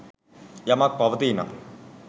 යමක් පවතී නම්